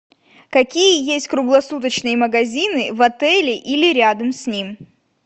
какие есть круглосуточные магазины в отеле или рядом с ним